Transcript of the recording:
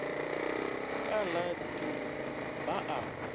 ka la dirupu ba a